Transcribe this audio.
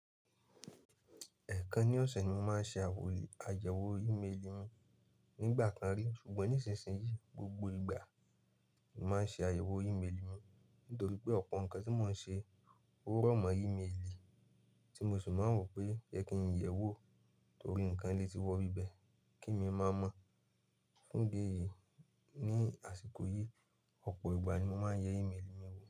Ẹ̀ẹ̀kan ní ọ̀sẹ̀ ni mo máa ń ṣe àyẹ̀wò ìméèlì mi. Nígbà kan rí, ṣùgbọ́n nísinsìnyí, gbogbo ìgbà ni mo ń ṣe àyẹ̀wò ìméèlì mi, nítorí pé ọ̀pọ̀ nǹkan tí mo ń ṣe ò rọ̀mọ́ ìméèlì tí mo sì máa ń rò pé yẹ kí n yẹ̀ wò torí ǹǹkan le ti wọ́ ibí bẹ̀ kí èmí mo máa mọ̀. Fún ìdí èyí, ní àsìkò yìí, ọ̀pọ̀ ìgbà ni mo máa ń yẹ ìméèlì mi wò.